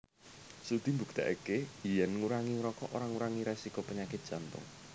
Studi mbuktèkaké yèn ngurangi ngrokok ora ngurangi résiko penyakit Jantung